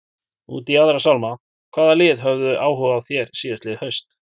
Út í aðra sálma, hvaða lið höfðu áhuga á þér síðastliðið haust?